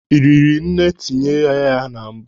Ị riri nne etinyela mbụ?